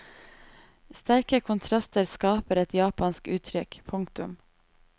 Sterke kontraster skaper et japansk uttrykk. punktum